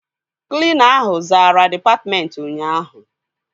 Klina ahụ zara dịpatmentị ụnyaahụ